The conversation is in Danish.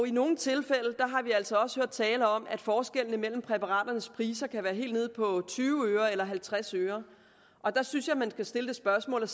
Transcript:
i nogle tilfælde har vi altså også hørt tale om at forskellene mellem præparaternes priser kan være helt nede på tyve øre eller halvtreds øre og der synes jeg at man skal stille det spørgsmål